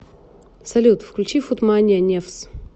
салют включи фут мания невз